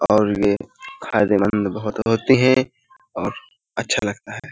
और यह फायदेमंद बोहोत होते हैं और अच्छा लगता है।